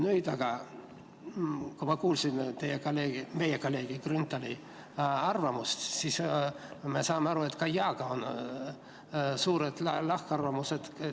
Nüüd aga, kui ma kuulsin meie kolleegi Grünthali arvamust, sain aru, et ka jaa korral on suured lahkarvamused.